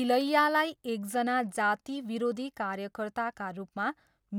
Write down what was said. इलैयालाई एकजना जाति विरोधी कार्यकर्ताका रूपमा,